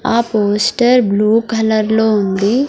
ఆ poster blue కలర్లో ఉంది.